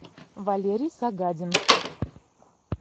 валерий сагадин